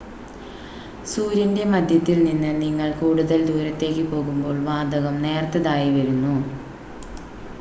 സൂര്യൻ്റെ മധ്യത്തിൽ നിന്ന് നിങ്ങൾ കൂടുതൽ ദൂരത്തേക്ക് പോകുമ്പോൾ വാതകം നേർത്തതായി വരുന്നു